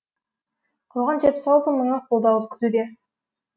қалған жетпіс алты мыңы қолдауды күтуде